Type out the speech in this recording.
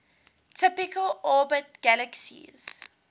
typically orbit galaxies